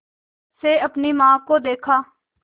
से अपनी माँ को देखा